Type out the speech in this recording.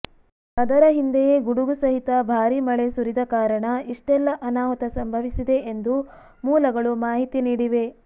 ಅದರ ಹಿಂದೆಯೇ ಗುಡುಗು ಸಹಿತ ಭಾರಿ ಮಳೆ ಸುರಿದ ಕಾರಣ ಇಷ್ಟೆಲ್ಲಾ ಅನಾಹುತ ಸಂಭವಿಸಿದೆ ಎಂದು ಮೂಲಗಳು ಮಾಹಿತಿ ನೀಡಿವೆ